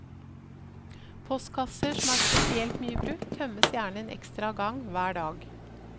Postkasser som er spesielt mye brukt, tømmes gjerne en ekstra gang hver dag.